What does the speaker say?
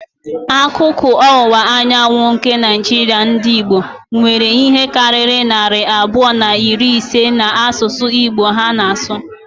Akụkụ ọwụwa anyanwụ nke Naijiria ndị Igbo, nwere ihe karịrị narị abụọ na iri ise na-asụ Igbo ha na-asụ.